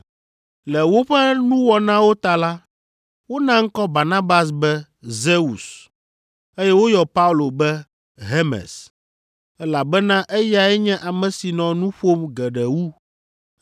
Le woƒe nuwɔnawo ta la, wona ŋkɔ Barnabas be Zeus, eye woyɔ Paulo be Hermes, elabena eyae nye ame si nɔ nu ƒom geɖe wu.